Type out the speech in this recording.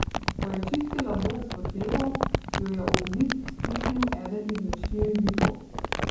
Ko je čistila boks v hlevu, jo je ob zid stisnil eden izmed štirih bikov.